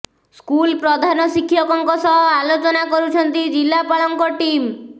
school ପ୍ରଧାନ ଶିକ୍ଷକଙ୍କ ସହ ଆଲୋଚନା କରୁଛନ୍ତି ଜିଲ୍ଲାପାଳଙ୍କ ଟିମ୍